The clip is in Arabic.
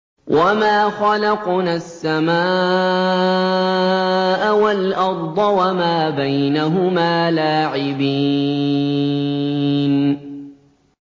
وَمَا خَلَقْنَا السَّمَاءَ وَالْأَرْضَ وَمَا بَيْنَهُمَا لَاعِبِينَ